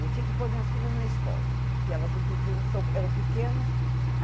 Eu tinha que pôr minhas filhas na escola, porque elas não podiam... eram pequenas.